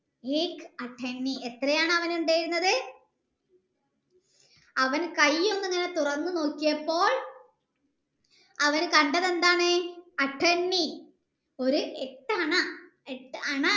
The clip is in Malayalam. എത്രയാണ് ഉണ്ടായിരുന്നത അവൻ കൈ ഒന്ന് തുറന്നു നോക്കിയപ്പോൾ അവൻ കണ്ടത് എന്താണ് ഒരു എട്ടു അണ